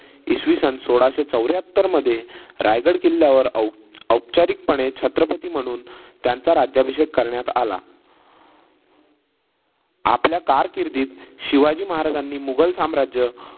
इसवी सन सोळाशे चवऱ्याहत्तर मध्ये रायगड किल्ल्यावर औप औपचारिकपणे छत्रपती म्हणून त्यांचा राज्याभिषेक करण्यात आला. आपल्या कारकिर्दीत शिवाजी महाराजांनी मुघल साम्राज्य